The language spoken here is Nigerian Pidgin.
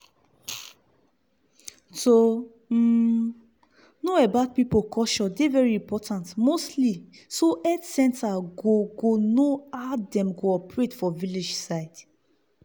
to um know about pipu culture dey very important mostly so health center go go know how dem operate for village side.